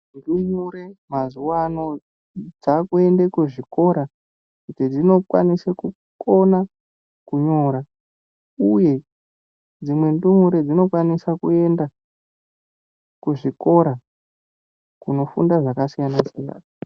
Ndumure mazuwa ano dzakuende kuzvikora kuti dzinokwanise kunyora uye dzimwe ndumure dzinokwanisa kuende kuzvikora kunofunda zvakasiyanasiyana.